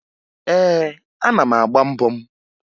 Ee, ana m agba mbọ m